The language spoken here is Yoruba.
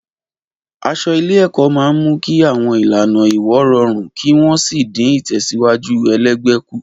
Aṣọ ilé-ẹ̀kọ́ máa ń mú kí àwọn ìlànà ìwọ̀ rọrùn kí wọ́n sì dín ìtẹ̀síwájú ẹlẹgbẹ́ kù.